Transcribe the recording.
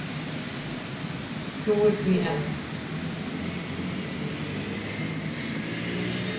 Trúir því enn.